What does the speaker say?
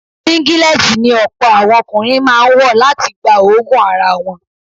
Síngílẹ́tì ni ọ̀pọ̀ àwọn ọkùnrin máa ń wọ̀ láti gba òóguùn ara wọn.